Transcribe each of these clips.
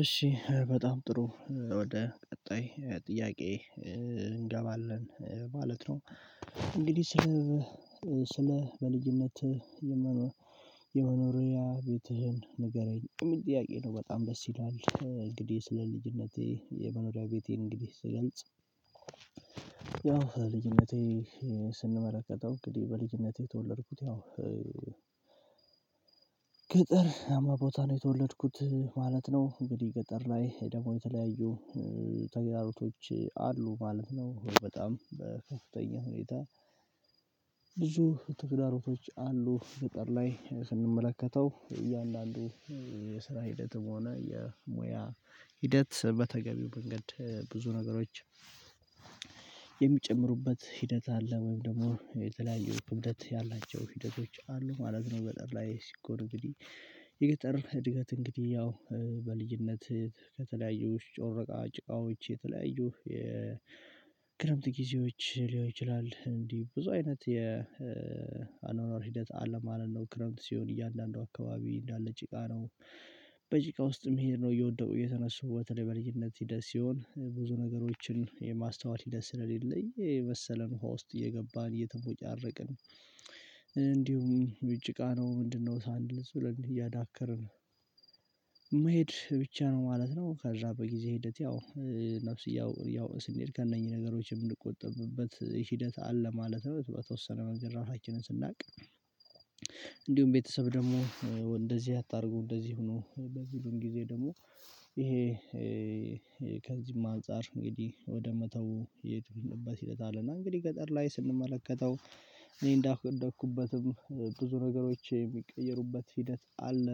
እሺ በጣም ጥሩ ወደ ቀጣይ ጥያቄ እንገባለን ማለት ነው። እንግዲህ ስለ በልዩነት የመኖሪያ ቤትህን ንገረኝ የሚል ጥያቄ ነው በጣም ደስ ይላል። እንግዲህ ስለ ልጅነቴ የመኖሪያ ቤቴን እንግዲህ ስገልጽ። ያው ልጅነቴ ስንመረከተው እንግዲህ በልጅነቴ የተወለድኩት ያው ገጠር አማ ቦታ ነው የተወለድኩት ማለት ነው። እንግዲህ ገጠር ላይ ደግሞ የተለያዩ ተግዳሮቶች አሉ ማለት ነው። በጣም በከፍተኛ ሁኔታ ብዙ ተግዳሮቶች አሉ። ገጠር ላይ ስንመለከተው እያንዳንዱ የስራ ሂደትም ሆነ የሙያ ሂደት በተገቢው መንገድ ብዙ ነገሮች የሚጨምሩበት ሂደት አለ ወይም ደግሞ የተለያዩ ክብደት ያላቸው ሂደቶች አሉ። አለም ገጠር ላይ ሲኮር እንግዲህ የገጠር እድገት እንግዲህ ያው በልዩነት ከተለያዩ ጮረቃ ጭቃዎች የተለያዩ የክረምት ጊዜዎች ሊሆን ይችላል እንዴ ብዙ አይነት የአኗኗር ሂደት አለማለት ነው። ክረምት ሲሆን እያንዳንዱ አካባቢ እንዳለ ጭቃ ነው። በጭቃ ውስጥ መሄድ ነው እየወደዱ የተነሱ ወተለይ በልጅነት ሂደት ሲሆን ብዙ ነገሮችን የማስተዋል ሂደት ስለሌለኝ መሰለን ውሃ ውስጥ እየገባን እየተሞጫረቅን እንዲሁም ውጭ ቃ ነው ምንድነው ሳንል እዚህ ብለን እያዳከርን የምሄድ ብቻ ነው ማለት ነው። ከዛ በጊዜ ሂደት ያው ነፍስ እያወቅን እያወቅን ስንሄድ ከእነኚህ ነገሮች የምንቆጠብበት ሂደት አለ። ማለት በተወሰነ መጀመሪያ ራሳችንን ስናውቅ። እንዲሁም ቤተሰብ ደግሞ እንደዚህ አታድርጉ እንደዚህ ሆኖ በሚሉን ጊዜ ደግሞ ይሄ ከዚህም አንፃር እንግዲህ ወደ መተው የሄድንበት ሂደት አለና። እና እንግዲህ ገጠር ላይ ስንመለከተው እኔ እንዳደኩበትም ብዙ ነገሮች የሚቀይሩበት ሂደት አለ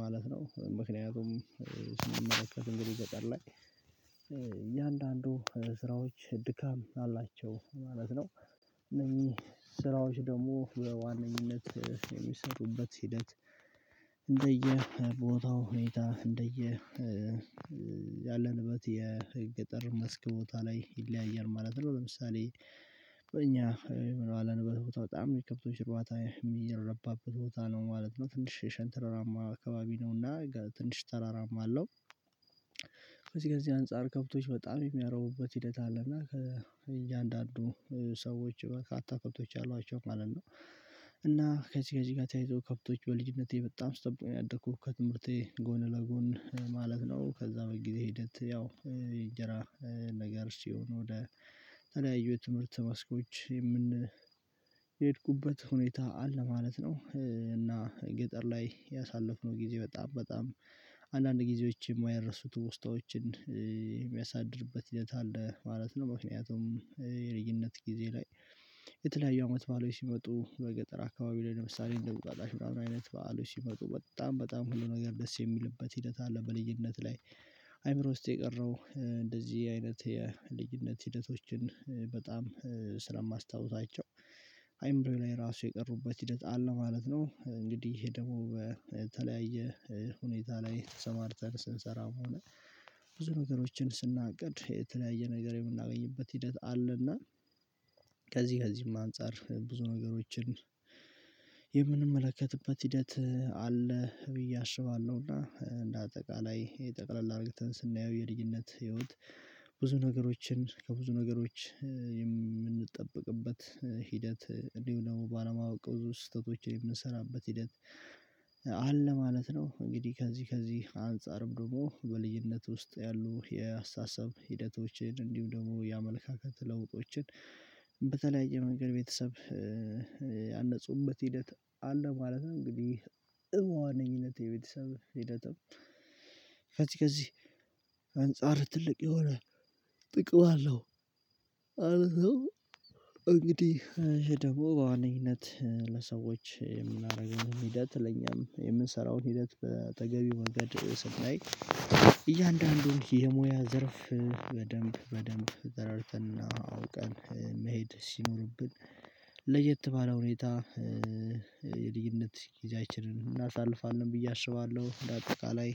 ማለት ነው። ምክንያቱም ስንመለከት እንግዲህ ገጠር ላይ እያንዳንዱ ስራዎች ድካም አላቸው ማለት ነው። እነዚህ ስራዎች ደግሞ በዋነኝነት የሚሰጡበት ሂደት እንደየ ቦታው ሁኔታ እንደየ ያለንበት የገጠር መስክ ቦታ ላይ ይለያያል ማለት ነው። ለምሳሌ በእኛ በኋላ በተወጣ በጣም የከብቶች ጨዋታ የሚረባበት ቦታ ነው ማለት ነው። ትንሽ ሸንተራራማ አካባቢ ነውና ትንሽ ተራራማ አለው። ከዚህ ከዚህ አንፃር ከብቶች በጣም የሚያረቡበት ሂደት አለና ከእያንዳንዱ ሰዎች በቃ በርካታ ከብቶች አሏቸው ማለት ነው። እና ከዚህ ከዚህ ጋር ተያይዞ ከፍቶች በልጅነቴ በጣም ስጠብቅነው ያደኩት ከትምህርቴ ጎን ለጎን ማለት ነው። ከዛ በቀን ጊዜ ሂደት ያው የእንጀራ ነገር ሲሆን ወደ ተለያዩ የትምህርት ማስኮች የምን የሄድኩበት ሁኔታ አለ ማለት ነው። እና ገጠር ላይ ያሳለፍነው ጊዜ በጣም በጣም አንዳንድ ጊዜዎች የማይረሱት ትውስታዎችን የሚያሳድርበት ሂደት አለ ማለት ነው። ምክንያቱም የርይነት ጊዜ ላይ የተለያዩ አመት በዓሎች ሲመጡ በገጠር አካባቢ ላይ ለምሳሌ እንደ እንቁጣጣሽ ምንምን አይነት በዓሎች ሲመጡ በጣም በጣም ሁሉ ነገር ደስ የሚልበት ሂደት አለ። በልዩነት ላይ አይምሮ ውስጥ የቀረው እንደዚህ አይነት የልጅነት ሂደቶችን በጣም ስለማስታውሳቸው አይምሮዬ ላይ ራሱ የቀሩበት ሂደት አለ ማለት ነው። እንግዲህ ይሄ ደግሞ በተለያየ ሁኔታ ላይ ተሰማርተን ስንሰራ መሆን ብዙ ነገሮችን ስናቅድ የተለያየ ነገር የምናገኝበት ሂደት አለና ከዚህ ከዚህም አንፃር ብዙ ነገሮችን የምንመለከትበት ሂደት አለ። ብዬ አስባለሁ። እና እንደ አጠቃላይ የጠቅለል አድርገተን ስናየው የልጅነት ህይወት ብዙ ነገሮችን ከብዙ ነገሮች የምንጠብቅበት ሂደት እንዲሁ ደግሞ ባለማወቅ ብዙ ስህተቶችን የምንሰራበት ሂደት አለ ማለት ነው። እንግዲህ ከዚህ ከዚህ አንፃርም ደግሞ በልዩነት ውስጥ ያሉ የአስተሳሰብ ሂደቶችን እንዲሁም ደግሞ የአመለካከት ለውጦችን በተለያየ መንገድ ቤተሰብ ያነፁበት ሂደት አለ ማለት ነው። እንግዲህ በዎነኝነት የቤተሰብ ህይወትም ከዚህ ከዚህ አንፃር ትልቅ የሆነ ጥቅም አለው ማለት ነው። እንግዲህ ደግሞ ለዋነኝነት ለሰዎች የምናደርገውን ሂደት ለኛም የምንሰራውን ሂደት በአጠገቤው ወገን ድርይስ ላይ እያንዳንዱን የሙያ ዘርፍ በደንብ በደንብ ዘርፍንና አውቀን መሄድ ሲኖርብን ለየት ባለ ሁኔታ የልጅነት ጊዜያችንን እናሳልፋለን ብዬ አስባለሁ። እንደአጠቃላይ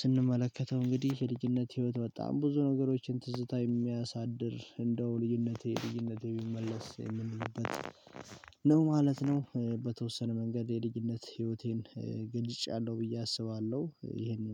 ስንመለከተው እንግዲህ የልጅነት ህይወት በጣም ብዙ ነገሮችን ትዝታ የሚያሳድር እንደው ልጅነቴ ልጅነቴ ቢመለስ የምንልበት ነው ማለት ነው። በተወሰነ መንገድ የልጅነት ህይወቴን ገልጫለሁ ብዬ አስባለሁ። ይሄንን